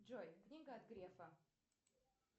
джой книга от грефа